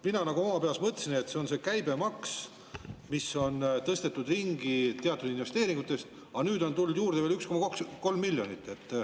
Mina oma peas mõtlesin, et see on käibemaks, mis on tõstetud ringi teatud investeeringutest, aga nüüd on tulnud juurde veel 1,3 miljonit.